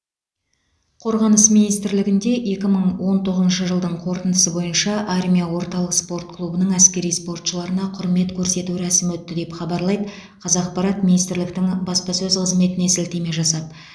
қорғаныс министрлігінде екі мың он тоғызыншы жылдың қорытындысы бойынша армия орталық спорт клубының әскери спортшыларына құрмет көрсету рәсімі өтті деп хабарлайды қазақпарат министрліктің баспасөз қызметіне сілтеме жасап